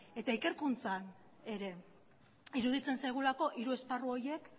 eta ikerkuntzan ere iruditzen zaigulako hiru esparru horiek